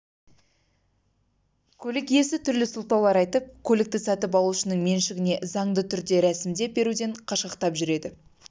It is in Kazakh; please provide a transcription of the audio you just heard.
көлік иесі түрлі сылтаулар айтып көлікті сатып алушының меншігіне заңды түрде ресімдеп беруден қашқақтап жүреді